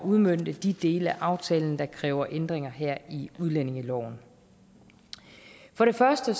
udmønte de dele af aftalen der kræver ændringer her i udlændingeloven for det første